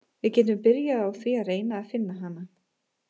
Við getum byrjað á því að reyna að finna hana.